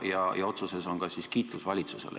Ja otsuses on ka kiitus valitsusele.